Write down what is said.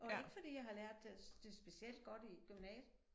Og ikke fordi jeg har lært det det specielt godt i gymnasiet